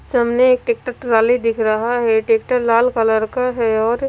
सामने एक tractor trolley दिख रहा है ट्रैक्टर लाल कलर का है और--